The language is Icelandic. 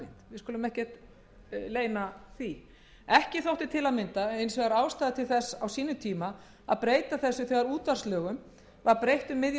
skulum ekkert leyna því ekki þótti til að mynda ástæða til þess á sínum tíma að breyta þessu er útvarpslögum var breytt um miðjan